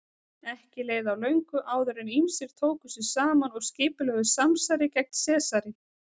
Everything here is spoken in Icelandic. Ekki leið á löngu áður en ýmsir tóku sig saman og skipulögðu samsæri gegn Sesari.